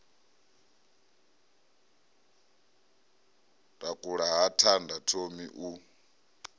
takula ha thanda thomi u